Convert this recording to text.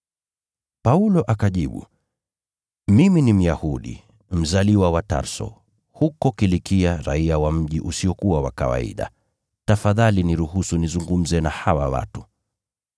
Paulo akajibu, “Mimi ni Myahudi, mzaliwa wa Tarso, huko Kilikia, raiya wa mji maarufu. Tafadhali niruhusu nizungumze na hawa watu.”